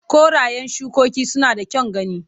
Korayen shikoki suna da kyan gani.